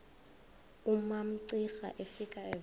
umamcira efika evela